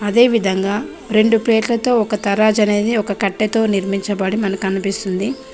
అదే విధంగా రెండు పేర్లతో ఒక తరాజనేది ఒక కట్టెతో నిర్మించబడి మనకనిపిస్తుంది .